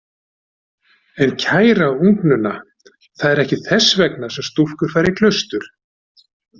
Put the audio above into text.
En kæra ungnunna, það er ekki þess vegna sem stúlkur fara í klaustur.